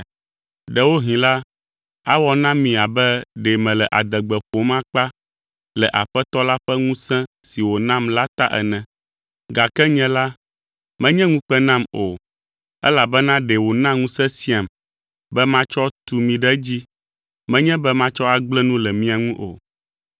Ɖewohĩ la, awɔ na mi abe ɖe mele adegbe ƒom akpa le Aƒetɔ la ƒe ŋusẽ si wònam la ta ene, gake nye la, menye ŋukpe nam o, elabena ɖe wòna ŋusẽ siam be matsɔ tu mi ɖe edzi, menye be matsɔ agblẽ nu le mia ŋu o.